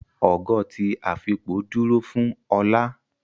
Ogo ti afipo dúró fún olá